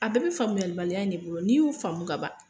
A bɛɛ be faamuyali baliya in de bolo n'i y'o faamu ka ban